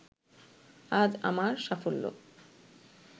আজ আমার সাফল্য